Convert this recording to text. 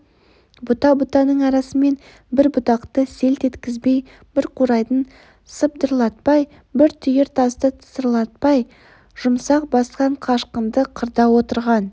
бұта-бұтаның арасымен бір бұтақты селт еткізбей бір қурайды сыбдырлатпай бір түйір тасты тысырлатпай жұмсақ басқан қашқынды қырда отырған